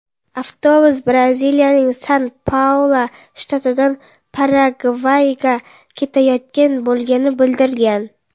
Avtobus Braziliyaning San-Paulu shtatidan Paragvayga ketayotgan bo‘lgani bildirilgan.